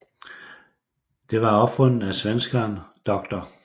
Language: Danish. Det var opfundet af svenskeren dr